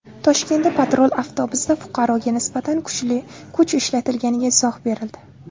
Toshkentda patrul avtobusida fuqaroga nisbatan kuch ishlatilganiga izoh berildi.